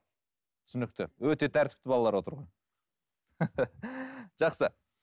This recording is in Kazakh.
түсінікті өте тәртіпті балалар отыр ғой жақсы